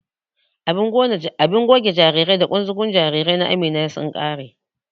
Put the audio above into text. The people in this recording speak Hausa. Abun goge jarirai da ƙunzugun jarirai na Amina sun ƙare.